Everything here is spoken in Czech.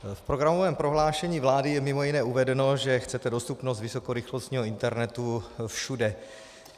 V programovém prohlášení vlády je mimo jiné uvedeno, že chcete dostupnost vysokorychlostního internetu všude.